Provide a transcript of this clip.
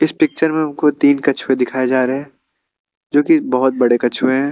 इस पिक्चर में हमको तीन कछुए दिखाए जा रहे जोकि बहोत बड़े कछुए है।